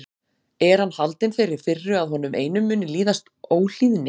Er hann haldinn þeirri firru að honum einum muni líðast óhlýðni?